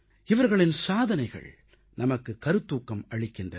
இவர்களின் சாதனைகள் நமக்கு கருத்தூக்கம் அளிக்கின்றன